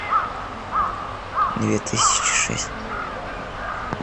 две тысячи шесть